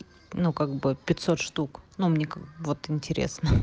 ну как бы пятьсот штук но мне как бы вот интересно